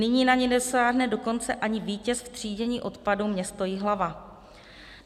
Nyní na ni nedosáhne dokonce ani vítěz v třídění odpadů, město Jihlava.